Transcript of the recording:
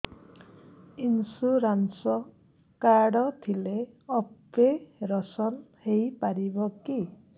insurance card ଥିଲେ operation ହେଇପାରିବ କି